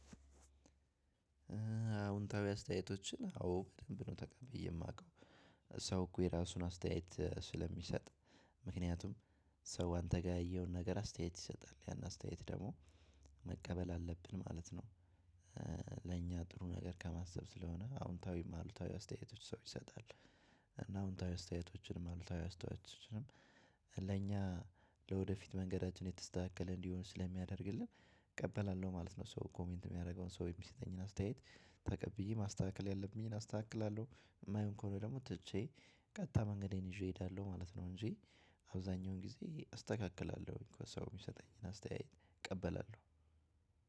አዎ በደንብ ነው ተቀብዬ የማውቀው ሰው እኮ የራሱን አስተያየት ስለሚሰጥ። ሰው አንተ ጋር ያየውን ነገር አስተያየት ይሰጣል ያን አስተያየት ደግሞ መቀበል አለብን ማለት ነው። ለእኛ ጥሩ ነገር ከማሰብ ስለሆነ አዎንታዊ ማውልታዊ አስተያየቶች ሰው ይሰጣል። እና አውንታዊ አስተያየቶችንም አሉ ታዊ አስተያየቶችንም ለኛ ለወደፊት መንገዳችን የተስተካከለ እንዲሆን ስለሚያደርግልህ እቀበላለሁ ማለት ነው። ሰው ኮሜንት የሚያደርገውን ሰው የሚሰጠኝን አስተያየት ተቀብዬ ማስተካከል ያለብኝን አስተካክላለሁ። የማይሆን ከሆነ ደግሞ ትቼ ቀጥታ መንገዴን ይዤ እሄዳለሁ ማለት ነው። እንጂ አብዛሀኛውን ጊዜ አስተካክላለሁኝ ሰው የሚሰጠኝን አስተያየት እቀበላለሁኝ